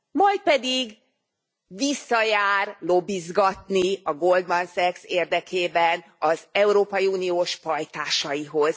Majd pedig visszajár lobbizgatni a Goldman Sachs érdekében az európai uniós pajtásaihoz.